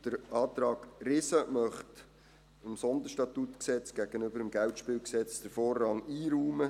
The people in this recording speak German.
Der Antrag Riesen möchte dem SStG den Vorrang gegenüber dem KGSG einräumen.